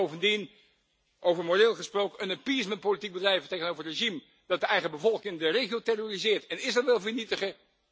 En bovendien, over moreel gesproken, een appeasementpolitiek bedrijven tegenover een regime dat de eigen bevolking en de regio terroriseert en Israël wil vernietigen